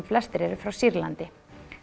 flestir eru frá Sýrlandi